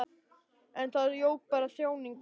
En það jók bara þjáningu mína.